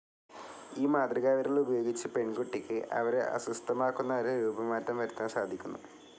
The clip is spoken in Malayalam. ഈ മാതൃകാവിരൽ ഉപയോഗിച്ച് പെൺകുട്ടിക്ക് അവരെ അസ്വസ്ഥമാക്കുന്നവരെ രൂപമാറ്റം വരുത്തുവാൻ സാധിക്കുന്നു.